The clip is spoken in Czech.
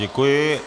Děkuji.